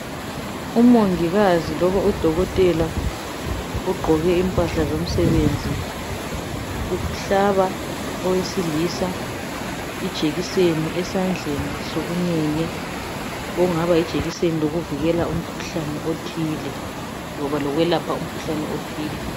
Umongikazi loba udokotela ogqoke impahla zomsebenzi uhlaba owesilisa ijekiseni esandleni sokunene okungaba yijekiseni yokuvikela umkhuhlane othile loba ukulapha umkhuhlane othile.